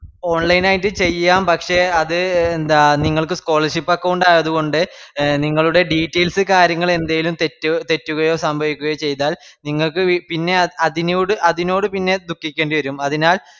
online ആയിട്ട് ചെയ്യാം പക്ഷെ അത് എ ന്താ നിങ്ങൾക്ക് scholarship account ആയത്കൊണ്ട് എ നിങ്ങളുടേ details കാര്യങ്ങള് ന്തെലും തെറ്റ് തെറ്റുകയോ സംഭവിക്കുകയോ ചെയ്താൽ നിങ്ങൾക്ക് വി പിന്നെ അതിനുട് അതിനോട് പിന്നെ ദുഃഖിക്കേണ്ടിവരും അതിനാൽ